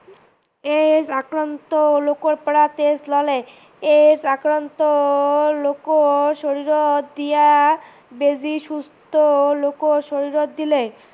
AIDS আক্ৰান্ত লোকৰ পৰা তেজ ললে, AIDS আক্ৰান্ত লোকৰ শৰীৰত দিয়া বেজি সুস্থ লোকৰ শৰীৰত দিলে